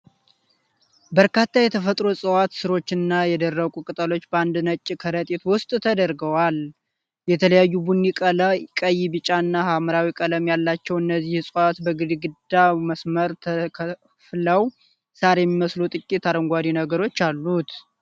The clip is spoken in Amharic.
በርካታ የተፈጥሮ እፅዋት፣ ሥሮች እና የደረቁ ቅጠሎች በአንድ ነጭ ከረጢት ውስጥ ተደርገዋል። የተለያዩ ቡኒ፣ ቀይ፣ ቢጫ እና ሐምራዊ ቀለም ያላቸው እነዚህ ዕፅዋት በግዴዳ መስመሮች ተከፍለው ሳር የሚመስሉ ጥቂት አረንጓዴ ነገሮች አሉት።